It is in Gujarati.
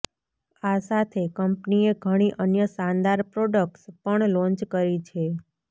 આ સાથે કંપનીએ ઘણી અન્ય શાનદાર પ્રોક્ટ્સ પણ લોન્ચ કરી છે